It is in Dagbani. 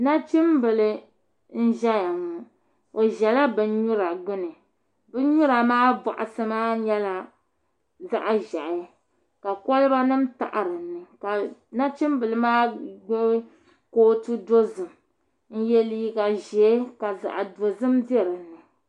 nachimbila n-ʒɛya ŋɔ o ʒɛla binnyura gbuni binnyura maa bɔɣisi maa nyɛla zaɣ' ʒɛhi ka kolibanima taɣi dinni ka nachimbila maa gbubi kootu dozim n-ye liiga ʒee ka zaɣ' dozim be dinni